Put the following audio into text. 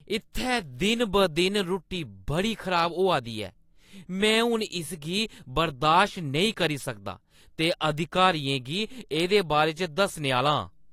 इत्थै दिन-ब-दिन रुट्टी बड़ी खराब होआ दी ऐ। मैं हून इसगी बर्दाश्त नेईं करी सकदा ते अधिकारियें गी एह्दे बारे च दस्सने आह्‌ला आं।